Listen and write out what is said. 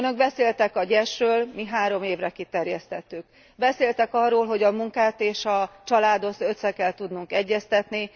Önök beszéltek a GYES ről, mi három évre kiterjesztettük. Beszéltek arról, hogy a munkát és a családot össze kell tudnunk egyeztetni.